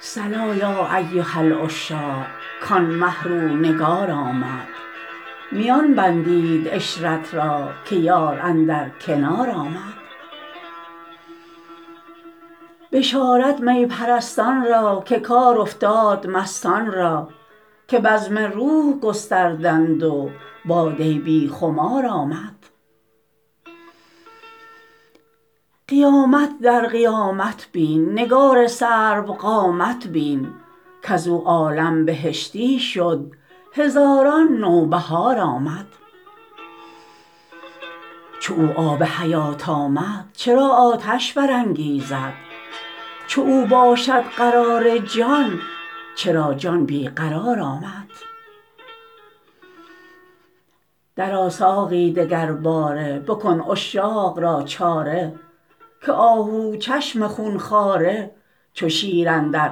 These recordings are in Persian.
صلا یا ایها العشاق کان مه رو نگار آمد میان بندید عشرت را که یار اندر کنار آمد بشارت می پرستان را که کار افتاد مستان را که بزم روح گستردند و باده بی خمار آمد قیامت در قیامت بین نگار سروقامت بین کز او عالم بهشتی شد هزاران نوبهار آمد چو او آب حیات آمد چرا آتش برانگیزد چو او باشد قرار جان چرا جان بی قرار آمد درآ ساقی دگرباره بکن عشاق را چاره که آهوچشم خون خواره چو شیر اندر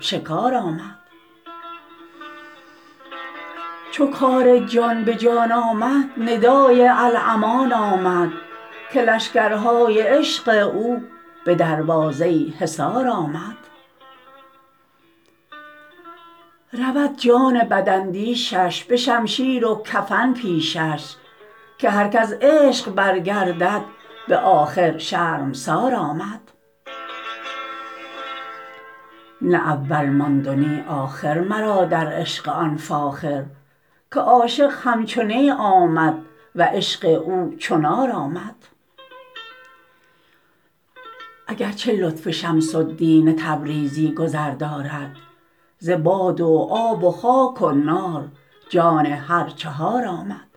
شکار آمد چو کار جان به جان آمد ندای الامان آمد که لشکرهای عشق او به دروازه حصار آمد رود جان بداندیشش به شمشیر و کفن پیشش که هر که از عشق برگردد به آخر شرمسار آمد نه اول ماند و نی آخر مرا در عشق آن فاخر که عاشق همچو نی آمد و عشق او چو نار آمد اگر چه لطف شمس الدین تبریزی گذر دارد ز باد و آب و خاک و نار جان هر چهار آمد